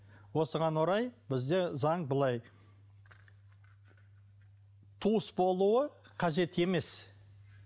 осыған орай бізде заң былай туыс болуы қажет емес